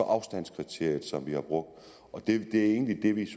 afstandskriteriet som vi har brugt det er egentlig det vi